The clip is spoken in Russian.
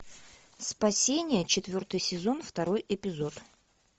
спасение четвертый сезон второй эпизод